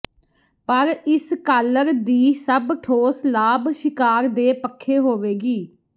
ਪਰ ਇਸ ਕਾਲਰ ਦੀ ਸਭ ਠੋਸ ਲਾਭ ਸ਼ਿਕਾਰ ਦੇ ਪੱਖੇ ਹੋਵੇਗੀ